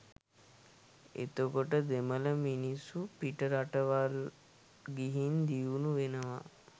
එතකොට දෙමල මිනිස්සු පිටරටවල් ගිහින් දියුනු වෙනවා